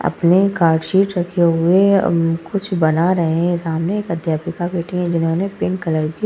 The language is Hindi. अपने कार्ड शीट रखे हुए अम्म कुछ बना रहे हैं। सामने एक अध्यापिका बैठी है जिन्होंने पिंक कलर की --